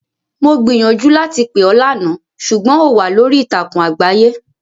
Mo gbiìyànjú láti pè ọ́ lánàá, ṣùgbọ́n ò wà lórí ìtàkùn àgbáyé.